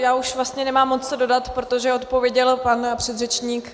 Já už vlastně nemám moc co dodat, protože odpověděl pan předřečník.